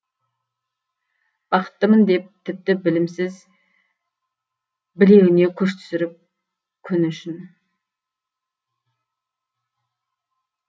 бақыттымын деді тіпті білімсіз білегіне күш түсіріп күні үшін